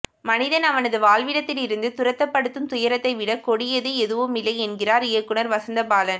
மனிதன் அவனது வாழ்விடத்தில் இருந்து துரத்தப்படுத்தும் துயரத்தைவிடக் கொடியது எதுவுமில்லை என்கிறார் இயக்குநர் வசந்த பாலன்